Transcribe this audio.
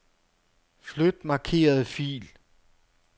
Flyt markerede fil.